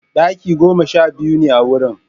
Ɗaki goma sha biyu ne a wurin.